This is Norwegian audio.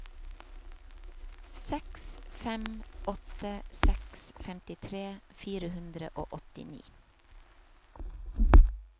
seks fem åtte seks femtitre fire hundre og åttini